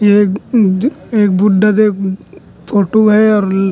ये बु बुड्ढा दे ुम्म अम्म फोटु है और ल--